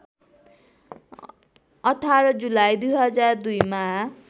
१८ जुलाई २००२ मा